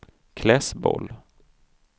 Klässbol